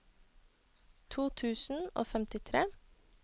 to tusen og femtitre